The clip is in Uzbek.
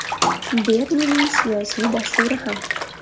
Bernining siyosiy dasturi ham.